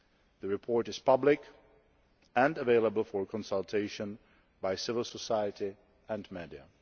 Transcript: The report is public, and available for consultation by civil society and the